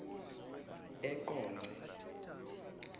eqonce